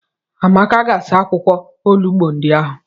Amaka ga-asa akwụkwọ olugbo ndị ahụ.